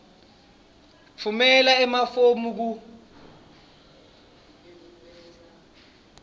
tfumela emafomu ku